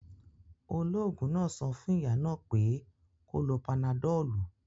Ológun náà sọ fún ìyá náà pé kó lo panadọ̀lù